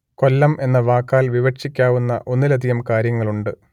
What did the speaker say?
കൊല്ലം എന്ന വാക്കാൽ വിവക്ഷിക്കാവുന്ന ഒന്നിലധികം കാര്യങ്ങളുണ്ട്